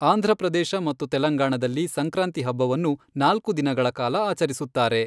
ಆಂಧ್ರಪ್ರದೇಶ ಮತ್ತು ತೆಲಂಗಾಣದಲ್ಲಿ ಸಂಕ್ರಾಂತಿ ಹಬ್ಬವನ್ನು ನಾಲ್ಕು ದಿನಗಳ ಕಾಲ ಆಚರಿಸುತ್ತಾರೆ.